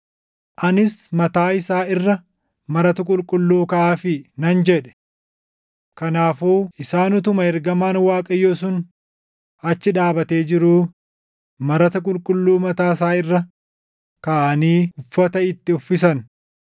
Anis, “Mataa isaa irra marata qulqulluu kaaʼaafii” nan jedhe. Kanaafuu isaan utuma ergamaan Waaqayyoo sun achi dhaabatee jiruu, marata qulqulluu mataa isaa irra kaaʼanii uffata itti uffisan.